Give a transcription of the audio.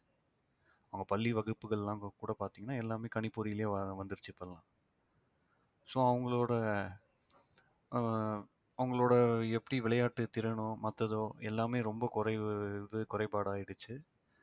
அவங்க பள்ளி வகுப்புகள் எல்லாம் கூட பார்த்தீங்கன்னா எல்லாமே கணிப்பொறியிலே வ~ வந்திடுச்சு இப்போ எல்லாம் so அவங்களோட ஆஹ் அவங்களோட எப்படி விளையாட்டுத் திறனோ மத்ததோ எல்லாமே ரொம்பக் குறைவு இது குறைபாடு ஆயிடுச்சு